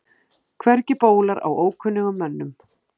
Hvergi bólar á ókunnugum mönnum.